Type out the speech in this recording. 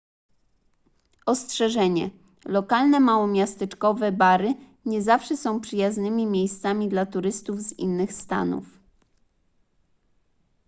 ostrzeżenie lokalne małomiasteczkowe bary nie zawsze są przyjaznymi miejscami dla turystów z innych stanów